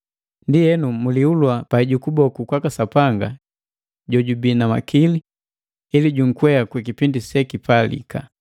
Ndienu, mulihulua pai ju kuboku kwaka Sapanga jojubi na makili, ili junkwea kwikipindi sekipalika.